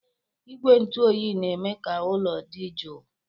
Igwe ntụ oyi na-eme ka ụlọ dị jụụ.